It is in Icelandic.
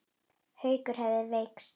Haukur hefðu veikst.